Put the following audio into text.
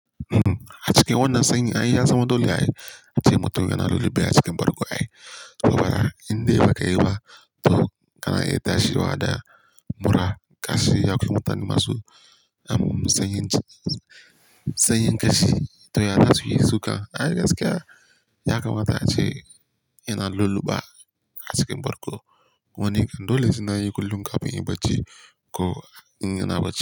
Uhm, a cikin wannan sanyi ai ya zama dole ai, ace mutum yana lulluɓe a cikin bargo ai. Saboda indai bakayi ba, to kana iya tashiwa da mura kashi ya ƙi motsa ni masu. Am sanyi kashi to ya taswi suka. Ai gaskiya ya kamata ace yana lulluɓa a cikin bargo. Wannan ko dole sai nayi kullum kafin ya baci ko in yana bacci.